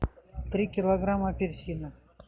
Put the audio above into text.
три килограмма апельсинов